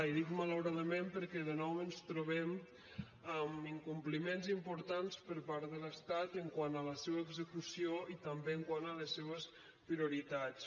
i dic malauradament perquè de nou ens trobem amb incompliments importants per part de l’estat quant a la seva execució i també quant a la seves prioritats